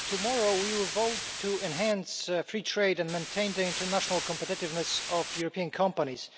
Mr President, tomorrow we will vote to enhance free trade and maintain the international competitiveness of European companies.